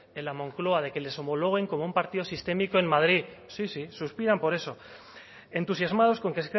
en la moncloa de que les homologuen como un partido sistémico en madrid sí sí suspiran por eso entusiasmados con que